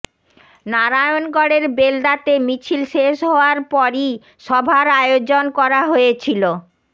নারায়ণগড়ের বেলদাতে মিছিল শেষ হওয়ার পরই সভার আয়োজন করা হয়েছিল